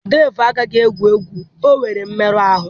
Dave agaghị egwu egwu, o nwere mmerụ ahụ